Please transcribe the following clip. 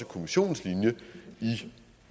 kommissionens